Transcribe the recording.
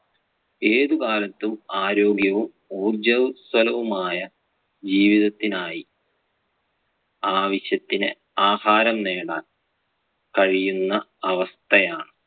ഏതു കാലത്തും ആരോഗ്യവും ഉർജ്ജസ്വലവുമായ ജീവിതത്തിനായി ആവിശ്യത്തിന് ആഹാരം നേടാന്‍ കഴിയുന്ന അവസ്ഥയാ~